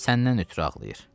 Səndən ötrü ağlayır.